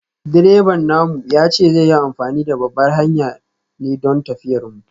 Direban namu ya ce zai yi amfani da babbar hanyar ne don tafiyar mu.